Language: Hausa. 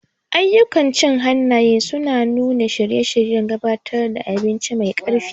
Ayyukan cin hannaye suna nuna shirye-shiryen gabatar da abinci mai ƙarfi.